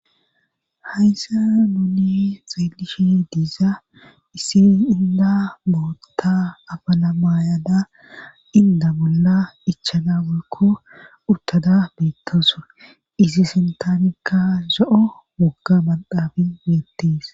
hayssa nuuni xeelishi diza issi inda bootta abala maayada inda bolla ichana walko urtada beettasure isi sintaanikka za7o mogga madaabi yeettis